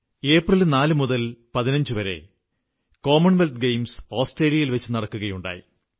April 4 മുതൽ 15 വരെ ആസ്ട്രേലിയയിൽ വച്ചു കോമൺവെൽത്ത് ഗെയിംസ് നടക്കുകയുണ്ടായി